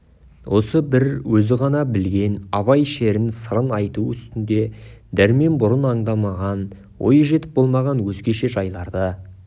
осы бір өзі ғана білген абай шерін сырын айту үстінде дәрмен бұрын аңдамаған ойы жетіп болмаған өзгеше жайларды